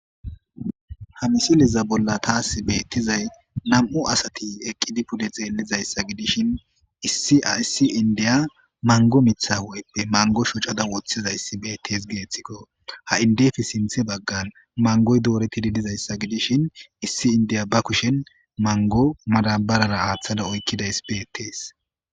Ha misiliza bolla taasi beettizay nam'u asati eqqidi pude xeelizayssa gidishin issia issi indiya mango mitha weeppe mango shocada woththizayssi beettees geethikko ha indefi sinthe baggan mangoy doore kididizayssa gidishin issi indiya ba kushen mango madabarara aaththada oykkidays beettees